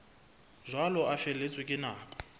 jwalo a feletswe ke nako